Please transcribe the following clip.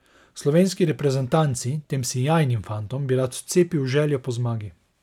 Slovenski reprezentanci, tem sijajnim fantom, bi rad vcepil željo po zmagi.